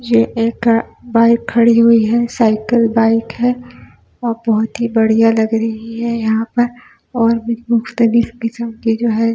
ये एक बाइक खड़ी हुई साइकिल बाइक है बहुती बढ़िया लग रही है यहाँ पर और --